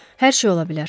Hər şey ola bilər.